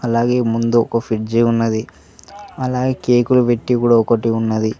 అలాగే ముందు ఒక ఫ్రిడ్జ్ ఉన్నది అలాగే కేకులు పెట్టి కూడా ఒకటి ఉన్నది.